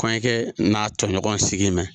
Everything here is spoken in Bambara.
Kɔɲɔkɛ n'a tɔɲɔgɔn sigin mɛ.